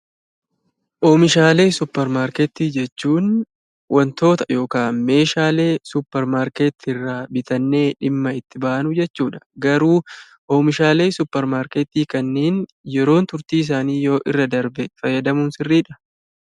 Oomishaalee suuparmarkeetii jechuun wantoota yokaan oomishaalee suuparmarkeetiirraa bitannee dhimma itti baanu jechuudha. Garuu oomishaalee suuparmarkeetii kanniin yeroon turtiisaanii yoo irra darbe fayyadamuun sirriidhaa?